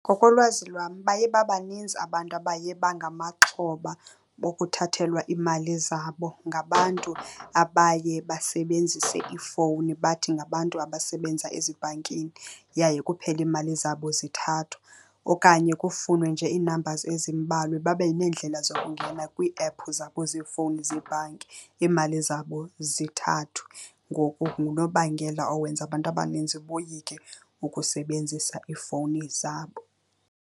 Ngokolwazi lwam baye babaninzi abantu abaye bangamaxhoba bokuthathelwa iimali zabo ngabantu abaye basebenzise iifowuni bathi ngabantu abasebenza ezibhankini, yaye kuphele iimali zabo zithathwa. Okanye kufunwe nje ii-numbers ezimbalwa babe neendlela zokungena kwiiephu zabo zeefowuni zeebhanki, iimali zabo zithathwe. Ngoku ngunobangela owenza abantu abaninzi boyike ukusebenzisa iifowuni zabo.